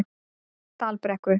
Dalbrekku